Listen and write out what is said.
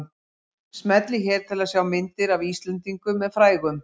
Smellið hér til að sjá myndir af Íslendingum með frægum